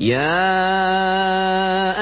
يَا